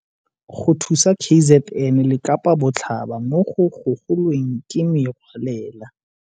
Go thusa KZN le Kapa Botlhaba mo go gogo lweng ke Merwalela.